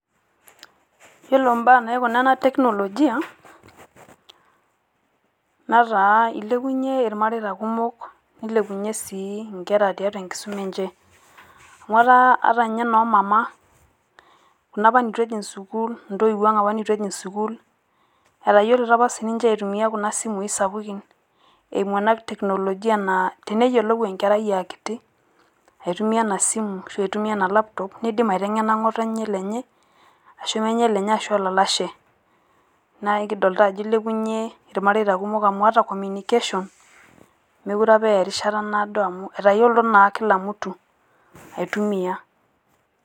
Iyeloo baya naikuna ena teknolojia nataa elepunye ilmaritaa kumook nelepunye sii nkerra teatua enkisuma enchee. Amu eta ata no mamaa kuna taa neetu ejing' sukuul ntoiwang' apa neetu ajing' sukuul etayoluto apa sii ninche aitumia kuna simu sapukin. Aimuu ena teknologia naa teneyolou enkerai e nkitii aitumia e simu asho aitumia ena laptop neidim aiteng'ena ng'otenye lenye asho menyee lenye asho lolashe. Naa kidolita ajo ilepunye ilmaaretia kumook amu ata communication mekore apa aya erishata naa doo amu etoyoluto naa kila mtu aitumia.